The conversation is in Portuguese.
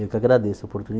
Eu que agradeço a